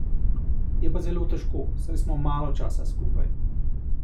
Je pa zelo težko, saj smo malo časa skupaj.